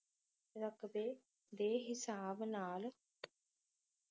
ਰਕਬੇ ਦੇ ਹਿਸਾਬ ਨਾਲ